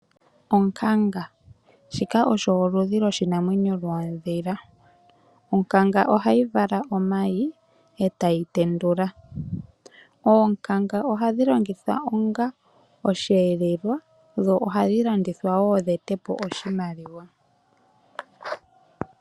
Onkanga shika osho oludhi lwoshinamwenyo lwoodhila ,onkanga ohayi vala omayi etayi tendula oonkanga ohadhi longithwa onga osheelelwa dho ohadhi landithwa wo dhi ete po oshimaliwa.